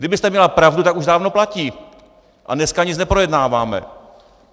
Kdybyste měla pravdu, tak už dávno platí a dneska nic neprojednáváme!